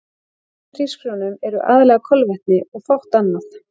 Í hvítum hrísgrjónum eru aðallega kolvetni og fátt annað.